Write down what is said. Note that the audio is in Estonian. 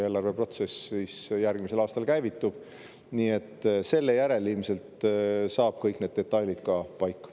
Eelarveprotsess järgmisel aastal käivitub, nii et selle järel saavad ilmselt kõik need detailid paika.